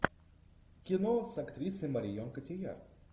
кино с актрисой марион котийяр